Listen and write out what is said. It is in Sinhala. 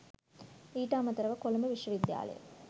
ඊට අමතරව කොළඹ විශ්වවිද්‍යාලය